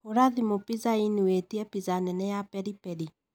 Hũra thimũ pizza inn witie na pizza nene ya peri peri.